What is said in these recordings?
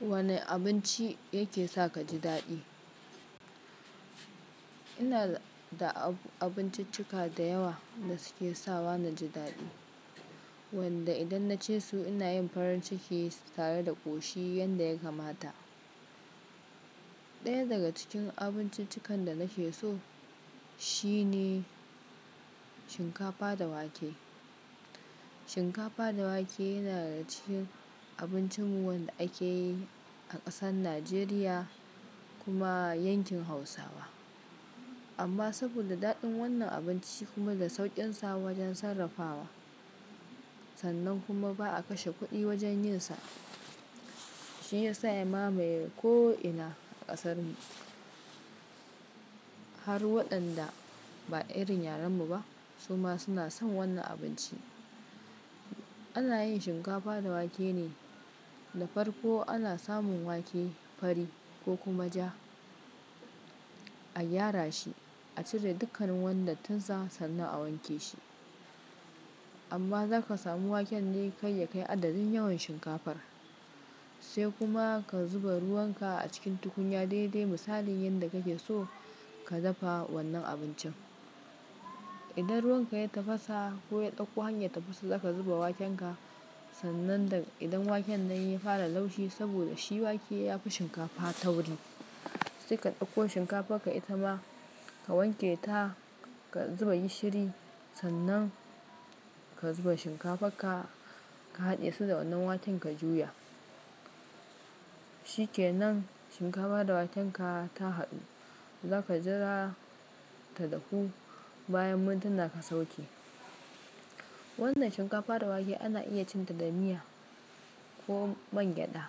Wane abinci yake saka ji daɗi? Ina da abinciccika da yawa da suke sawa na ji daɗi, wanda idan na ce su ina yin farin ciki tare da ƙoshi yanda ya kamata. Ɗaya daga cikin abinciccikan da na ke so shine shinkafa da wake. Shinkafa da wake yana daga cikin abincin mu wanda ake yi a ƙasar Najeriya kuma yankin Hausawa. Amma saboda daɗin wannan abinci kuma da sauƙin sa wajen sarrafawa, sannan kuma ba'a kashe kuɗi wajen yin sa, shi ya sa ya mamaye ko'ina a ƙasarmu. Har waɗanda ba irin yaren mu ba su ma suna son wannan abinci. Ana yin shinkafa da wake ne da farko ana samun wake fari ko kuma ja, a gyara shi, a cire dukkan wannan tansa sannan a wanke shi. Amma zaka samu waken ne kai ya kai adadin yawan shinkafar. Sai kuma ka zuba ruwan ka a cikin tukunya dai dai misalin yanda kake so ka dafa wannan abincin. Idan ruwan ka ya tafasa ko ya ɗauko hanyar tafasa zaka zuba waken ka sannan da idan waken nan ya fara laushi saboda shi wake yafi shinkafa tauri. Sai ka ɗauko shinkafar ka ita ma ka wanke ta, ka zuba gishiri sannan ka zuba shinkafar ka, ka haɗe su da wannan waken ka juya. Shi ke nan shinkafa da waken ka ta haɗu, zaka jira ta dahu bayan mintuna ka sauke. Wannan shinkafa da wake ana iya cin ta da miya ko man gyada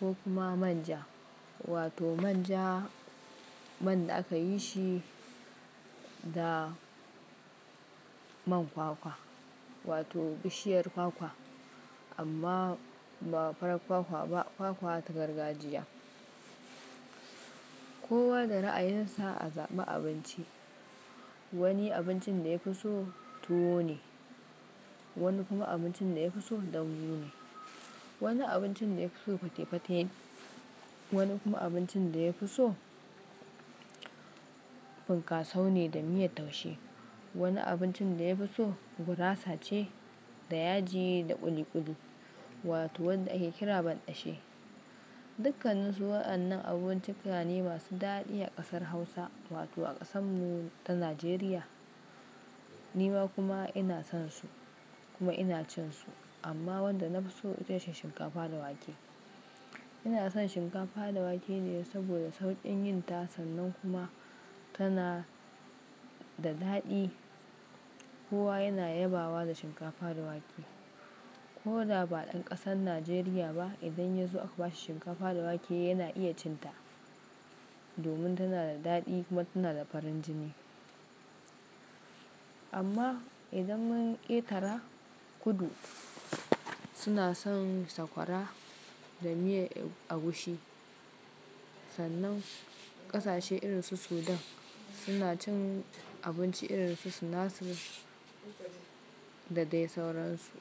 ko kuma manja wato manja man da aka yi shi da man kwakwa wato bishiyar kwakwa amma ba farar kwakwa ba kwakwa ta gargajiya. Kowa da ra'ayin sa a zaɓan abinci. Wani abincin da ya fi so tuwo ne, wani kuma abincin da ya fi so ɗanyun ne, wani abincin da ya fi so fate-fate ne, wani kuma abincin da ya fi so finkaso ne da miyar taushe, wani abincin da ya fi so gurasa ce da yaji da ƙuli-ƙuli wato wanda ake kira banɗashe. Dukannin su waɗannan abinci suna ne masu daɗi a ƙasar Hausa wato a ƙasan mu ta Najeriya. Ni ma kuma ina son su kuma ina cin su amma wanda nafi so itace shinkafa da wake. Ina son shinkafa da wake ne saboda sauƙin yin ta sannan kuma tana da daɗi. Kowa yana yabawa da shinkafa da wake. Ko da ba ɗan ƙasar Najeriya ba idan ya zo aka ba shi shinkafa da wake yana iya cin ta. Domin tana da daɗi kuma tana da farin jini. Amma idan mun ƙetara kudu suna son sakwara da miya agushi. Sannan ƙasashe irin su Sudan suna cin abinci irin su suna su da dai sauransu.